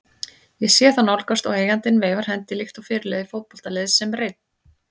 Ég sé þá nálgast og eigandinn veifar hendi líkt og fyrirliði fótboltaliðs sem reyn